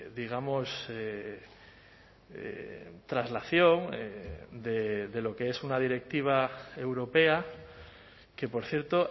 digamos traslación de lo que es una directiva europea que por cierto